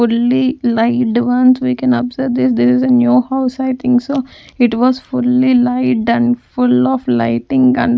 Fully lighted once we can observe this this is a new house i think so it was fully lighted and full of lighting and --